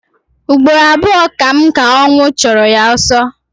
Ụgbọrọ abụọ ka m ka ọwnụ chọrọ ya ọsọ